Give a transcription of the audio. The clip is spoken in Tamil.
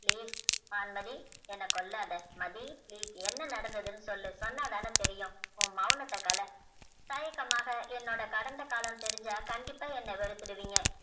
வான்மதி என்ன கொள்ளாத மதி please என்ன நடந்ததுனு சொல்லு சொன்னா தான தெரியும் ஓ மௌனத க தாயக்கமாக என்னோட கடந்த காலம் தெரிஞ்சா கண்டிப்பா என்ன வெறுத்துடு விங்க